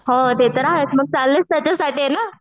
हो ते तर आहेच मग चाललेच त्याच्यासाठी आहे ना.